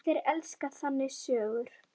Allir elska þannig sögur.